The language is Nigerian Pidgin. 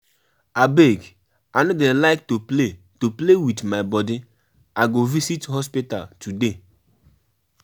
Abeg I no dey like to play to play with my body I go visit hospital today